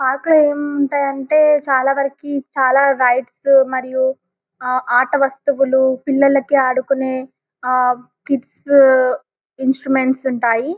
park లో ఏముంటాయి అంటే చాలా వరకు చాలా లైట్స్ మరియు ఆట వస్తువులు పిల్లలకి ఆడుకునే ఆ కిడ్స్ ఇన్స్ట్రుమెంట్స్ ఉంటాయి --